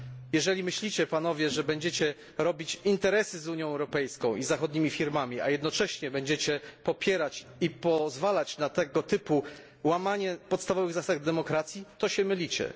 Jeżeli myślicie Panowie, że będziecie robić interesy z Unią Europejską i zachodnimi firmami i jednocześnie popierać i pozwalać na tego typu łamanie podstawowych zasad demokracji, to się mylicie.